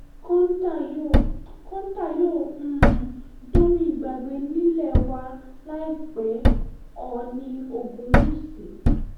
kọ́ńtà yóò kọ́ńtà yóò um dohun ìgbàgbé nílé wa láìpẹ́ oòní ogunwúsì